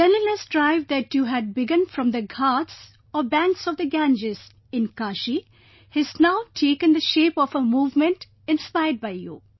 The cleanliness drive that you had begun from the Ghats or Banks of the Ganges in Kashi has now taken the shape of a movement inspired by you